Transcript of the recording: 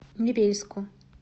невельску